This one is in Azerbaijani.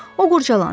O qurdalandı.